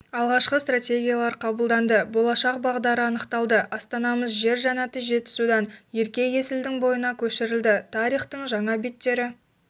алғашқы стратегиялар қабылданды болашақ бағдары анықталды астанамыз жер жәннатыжетісудан ерке есілдің бойына көшірілді тарихтың жаңа беттері